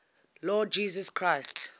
lord jesus christ